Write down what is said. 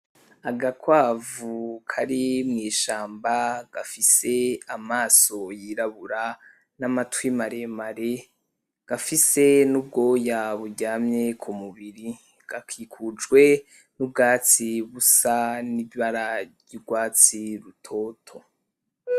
Agakwavu kari mw'ishamba gafise amaso yirabura n'amatwi maremare gafise n'ubwoya buryamye ku mubiri, gakikujwe n'ubwatsi busa n'ibara ry'urwatsi rutoto.